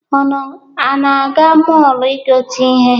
Unu na-aga mọọlụ igote ihe?